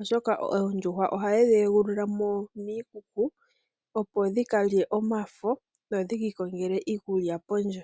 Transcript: oshoka oondjuhwa ohaye dhi egulula mo miikuku opo dhika lye omafo, dho dhiki ikongele iikulya pondje.